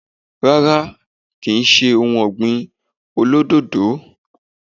Rárá kì í se ohun ọ̀gbìn olódòdó